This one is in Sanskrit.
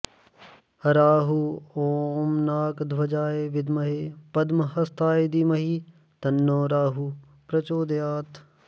राहु ॐ नाकध्वजाय विद्महे पद्महस्ताय धीमहि तन्नो राहुः प्रचोदयात्